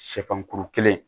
Sɛfan kuru kelen